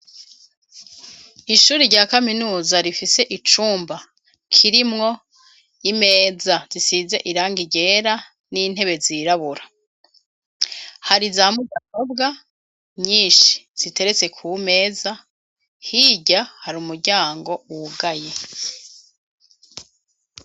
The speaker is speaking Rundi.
Ishuri rya kaminuza rifise icumba kirimwo imeza zisiza iranga ryera n'intebe zirabura hari za mugarobwa nyinshi ziteretse ku meza hirya hari umuryango wugaye.